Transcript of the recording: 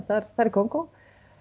þar er Kongó